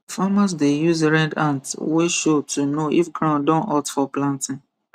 farmers dey use red ant wey show to know if ground don hot for planting